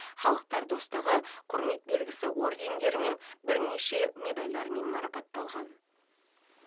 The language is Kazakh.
халықтар достығы құрмет белгісі ордендерімен бірнеше медальмен марапатталған